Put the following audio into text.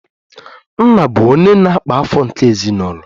Nna bụ onye na-akpa afọ nke ezinụlọ